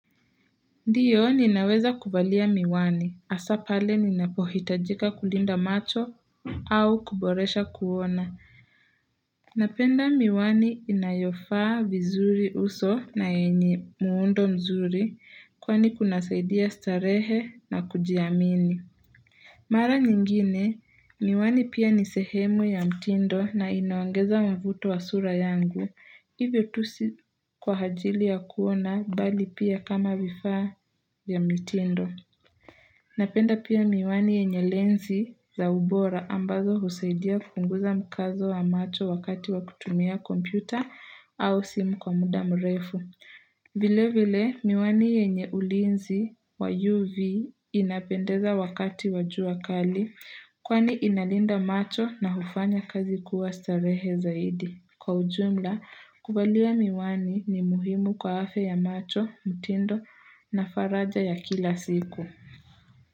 Ndiyo ninaweza kuvalia miwani, hasa pale ninapohitajika kulinda macho au kuboresha kuona. Napenda miwani inayofaa vizuri uso na yenye muundo mzuri kwani kunasaidia starehe na kujiamini. Mara nyingine, miwani pia ni sehemu ya mtindo na inaongeza mvuto wa sura yangu, hivyo tu sio kwa ajili ya kuona bali pia kama vifaa vya mitindo. Napenda pia miwani yenye lensi za ubora ambazo husaidia kupunguza mkazo wa macho wakati wa kutumia kompyuta au simu kwa muda mrefu. Vile vile, miwani yenye ulinzi wa UV inapendeza wakati wajua kali kwani inalinda macho na hufanya kazi kuwa starehe zaidi. Kwa ujumla, kuvalia miwani ni muhimu kwa afya ya macho, mitindo na faraja ya kila siku.